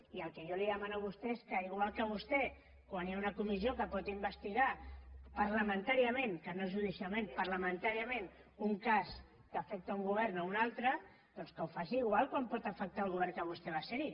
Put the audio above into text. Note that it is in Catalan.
i el que jo li demano a vostè és que igual que vostè quan hi ha una comissió que pot investigar parlamentàriament que no judicialment parlamentàriament un cas que afecta un govern o un altre doncs que ho faci igual com pot afectar el govern en què vostè va ser hi